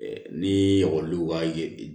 Ni ekɔli ka ye